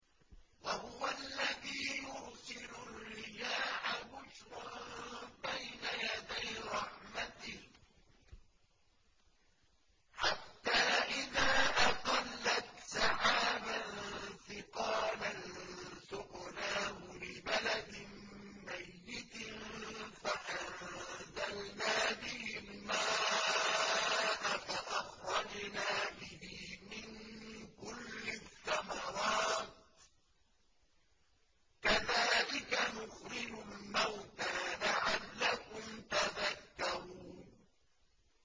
وَهُوَ الَّذِي يُرْسِلُ الرِّيَاحَ بُشْرًا بَيْنَ يَدَيْ رَحْمَتِهِ ۖ حَتَّىٰ إِذَا أَقَلَّتْ سَحَابًا ثِقَالًا سُقْنَاهُ لِبَلَدٍ مَّيِّتٍ فَأَنزَلْنَا بِهِ الْمَاءَ فَأَخْرَجْنَا بِهِ مِن كُلِّ الثَّمَرَاتِ ۚ كَذَٰلِكَ نُخْرِجُ الْمَوْتَىٰ لَعَلَّكُمْ تَذَكَّرُونَ